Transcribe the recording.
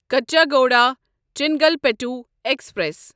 Kachiguda Chengalpattu express